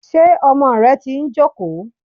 Ṣé ọmọ rẹ ti ń jókòó.